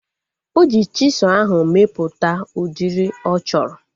Oji chisụl ahu mepụta udiri ọ chọrọ